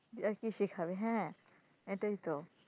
যে কি আর শিখাবে হ্যাঁ এটাই তো,